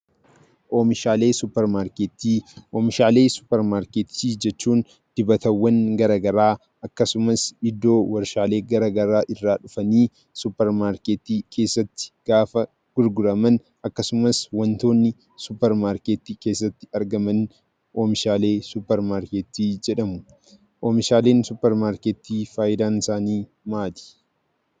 Oomishaalee suuparmarkeettii: Oomishaalee suuparmarkeettii jechuun dibatawwan garagaraa akkasumas iddoo warshaalee garagaraa irraa dhufanii suuparmarkeettii keessatti gaafa gurguraman akkasumas wantoonni suparmarkeettii keessatti argaman oomishaalee suuparmarkeettii jedhamu. Oomishaaleen suuparmarkeettii faayidaansaanii maali?